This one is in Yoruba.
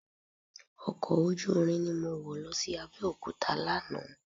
Ọkọ̀ ojúúrin ni mọ wọ̀ lọ sí Abẹ́òkúta lánàá